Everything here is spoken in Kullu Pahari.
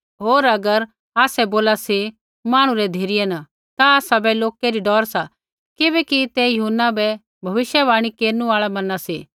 होर अगर आसै बोला सी मांहणु री धिरै न आसाबै लोकै री डौर सा किबैकि ते यूहन्ना बै भविष्यवाणी केरनु आल़ा मैना सी